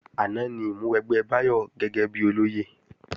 Àná ni ìmúwẹgbẹ́ Báyọ̀ gẹ́gẹ́bí olóyè